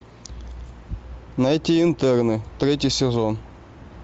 найти интерны третий сезон